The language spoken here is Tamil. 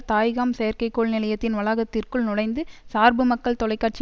தாய்காம் செயற்கைக்கோள் நிலையத்தின் வளாகத்திற்குள் நுழைந்து சார்பு மக்கள் தொலைக்காட்சி